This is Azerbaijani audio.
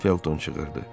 Felton çığırdı.